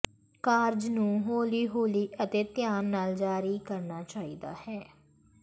ਕਾਰਜ ਨੂੰ ਹੌਲੀ ਹੌਲੀ ਅਤੇ ਧਿਆਨ ਨਾਲ ਜਾਰੀ ਕਰਨਾ ਚਾਹੀਦਾ ਹੈ